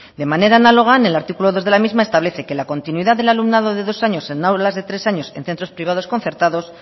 de manera análoga en el artículo dos de la misma establece que la continuidad del alumnado de dos años en aulas de tres años en centros privados concertados